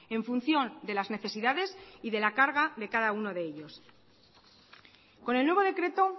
en función de las necesidades y de la carga de cada uno de ellos con el nuevo decreto